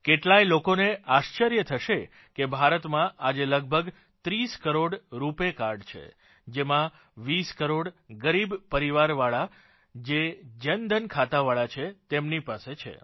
કેટલાય લોકોને આશ્ર્ચર્ય થશે કે ભારતમાં આજે લગભગ 30 કરોડ રૂપાય કાર્ડ છે જેમાંથી 20 કરોડ ગરીબ પરિવારવાળા જે જનધન ખાતાવાળા છે તેમની પાસે છે